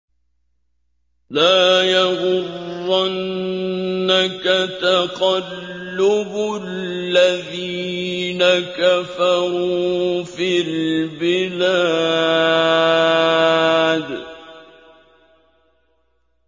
لَا يَغُرَّنَّكَ تَقَلُّبُ الَّذِينَ كَفَرُوا فِي الْبِلَادِ